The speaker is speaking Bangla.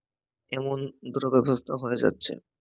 এমন দ্রগাদুস্ত হয়ে যাচ্ছে